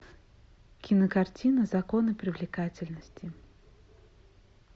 кинокартина законы привлекательности